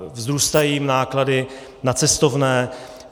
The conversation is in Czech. Vzrůstají jim náklady na cestovné.